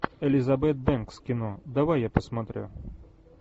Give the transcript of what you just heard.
элизабет бэнкс кино давай я посмотрю